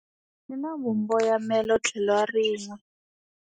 Yi na vumboyamelontlhelorinwe.